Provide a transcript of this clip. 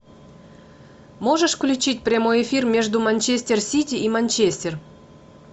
можешь включить прямой эфир между манчестер сити и манчестер